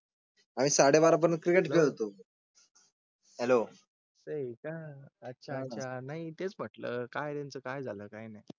आणि साडे बारा पर्यंत क्रिकेट खेळतो हेलो. ते का अच्छा अच्छा नाही तेच म्हटलं काय त्यांचं काय झालं काही नाही.